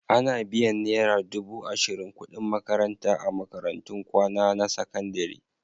Ana biyan naira dubu ashirin kuɗin makaranta a makarantun kwana na sakandare.